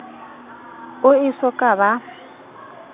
o e so ka ba